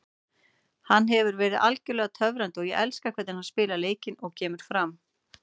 Hann hefur verið algjörlega töfrandi og ég elska hvernig hann spilar leikinn og kemur fram.